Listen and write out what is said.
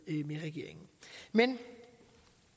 regeringen men